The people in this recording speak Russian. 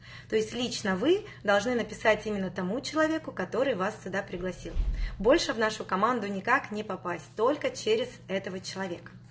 то есть лично вы должны написать именно тому человеку который вас сюда пригласил больше в нашу команду никак не попасть только через этого человека